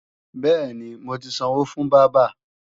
Bẹ́ẹ̀ni, mo ti sanwó fún bábà